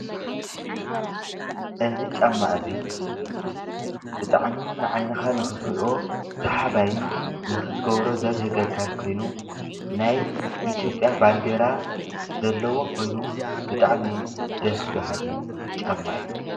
እዚ ጫማ እዚ ብጣዕሚ ንዓይንካ ንክትሪኦ ሰሓባይን ንክትገብሮ ዘብህገካን ኮይኑ ናይ ኢትዮጵያ ባንዴራ ዘለዎ ኮይኑ ብጣዕሚ ደስበሃሊ ጫማ እዩ::